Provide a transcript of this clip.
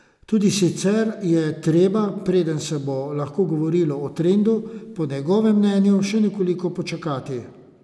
Tudi sicer je treba, preden se bo lahko govorilo o trendu, po njegovem mnenju še nekoliko počakati.